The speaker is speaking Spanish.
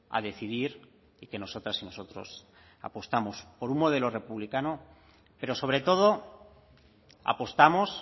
a decidir y que nosotras y nosotros apostamos por un modelo republicano pero sobre todo apostamos